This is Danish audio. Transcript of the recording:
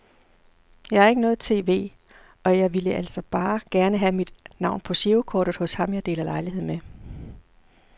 Jeg har ikke noget tv, og jeg ville altså bare gerne have mit navn på girokortet hos ham jeg deler lejlighed med.